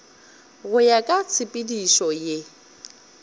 go ya ka tshepedišo ye